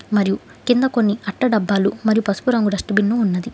మరియు కింద కొన్ని అట్ట డబ్బాలు మరి పసుపు రంగు డస్టు బిన్ను ఉన్నది.